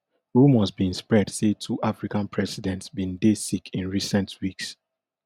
rumours bin spread say two african presidents bin dey sick in recent weeks